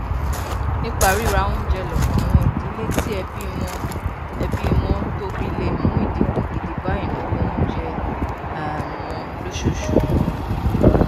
nípa ríra oúnjẹ lọpọ àwọn ìdílé tí ẹbí wọn ẹbí wọn tóbi le mú idínkù gidi bá ìnáwó oúnjẹ um wọn lóṣooṣù